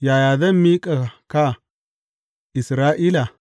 Yaya zan miƙa ka, Isra’ila?